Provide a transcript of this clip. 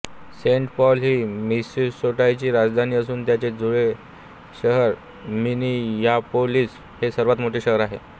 Saint Paul ही मिनेसोटाची राजधानी असून त्याचे जुळे शहर मिनियापोलिस हे सर्वात मोठे शहर आहे